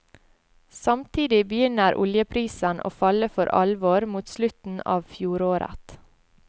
Samtidig begynner oljeprisen å falle for alvor mot slutten av fjoråret.